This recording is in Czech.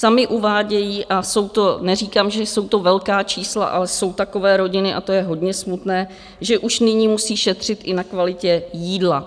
Sami uvádějí a jsou to, neříkám, že jsou to velká čísla, ale jsou takové rodiny, a to je hodně smutné, že už nyní musí šetřit i na kvalitě jídla.